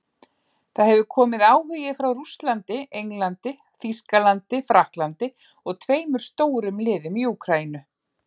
Það hefur komið áhugi frá Rússlandi, Englandi, Þýskalandi Frakklandi og tveimur stórum liðum í Úkraínu.